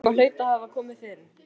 Eitthvað hlaut að hafa komið fyrir.